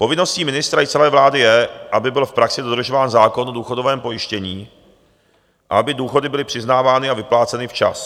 Povinností ministra i celé vlády je, aby byl v praxi dodržován zákon o důchodovém pojištění a aby důchody byly přiznávány a vypláceny včas.